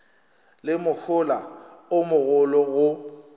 le mohola o mogolo go